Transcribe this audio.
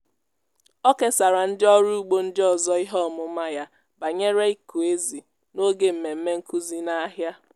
ọ kesara ndị ọrụ ugbo ndị ọzọ ihe ọmụma ya banyere ịkụ ezì n'oge mmemme nkuzi n'ahịa.